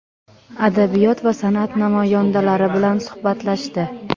adabiyot va sanʼat namoyandalari bilan suhbatlashdi.